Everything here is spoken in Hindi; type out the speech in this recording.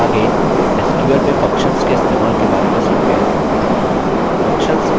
आगे sql में functions के इस्तेमाल के बारे में सीखते हैं